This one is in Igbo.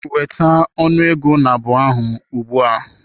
Weta ọnụ ego nabụ ahụ ugbu a!